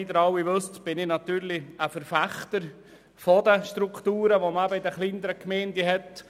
Wie Sie alle wissen, bin ich natürlich ein Verfechter der Strukturen, wie man sie in den kleineren Gemeinden hat.